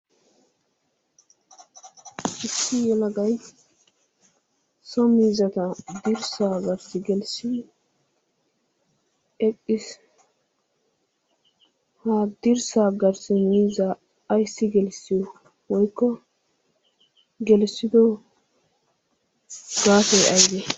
Issi yalagay so miizzata dirssaa garssi gelissi eqqiis. Ha dirssaa garssi miizzaa ayssi gelsside woykko gelissido gaasoy aybe?